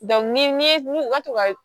ni ye u ka to ka